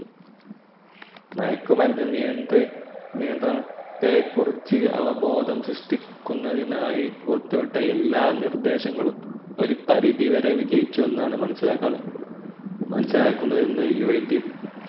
മയക്കുമരുന്ന് നിയന്ത്ര നിയന്ത്രണത്തെ കുറിച്ച് അവ ബോധം സൃഷിക്കുന്നതിനായി പുറത്തു വിട്ട എല്ലാ നിർദേശങ്ങളും ഒരു പരിധി വേറെ വിജയിച്ചുവെന്നാണ് മനസിലാകുന്നതെന്നാണ UNDC